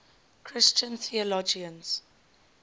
christian theologians